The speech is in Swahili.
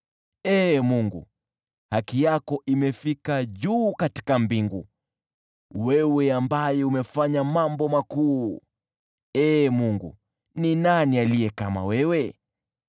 Ee Mungu, haki yako imefika juu katika mbingu, wewe ambaye umefanya mambo makuu. Ee Mungu, ni nani aliye kama wewe?